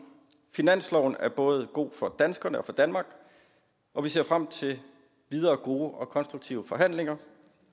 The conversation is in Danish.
finansloven er både god for danskerne og for danmark og vi ser frem til videre gode og konstruktive forhandlinger